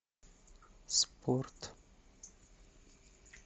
спорт